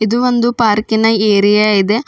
ಇದು ಒಂದು ಪಾರ್ಕಿನ ಏರಿಯಾ ಇದೆ.